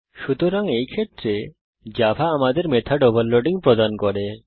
সুতরাং এই ক্ষেত্রে জাভা আমাদের মেথড ওভারলোডিং প্রদান করে